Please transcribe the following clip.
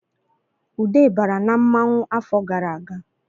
Ude bara na mmanwu afọ gara aga